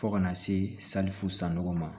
Fo kana se salifu sanu ma